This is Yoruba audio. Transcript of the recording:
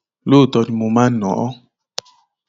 lóòótọ ni mo máa ń ná a